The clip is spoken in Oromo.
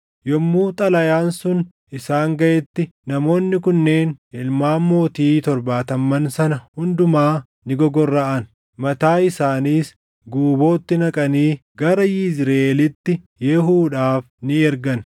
Yommuu xalayaan sun isaan gaʼetti namoonni kunneen ilmaan mootii torbaatamman sana hundumaa ni gogorraʼan. Mataa isaaniis guubootti naqanii gara Yizriʼeelitti Yehuudhaaf ni ergan.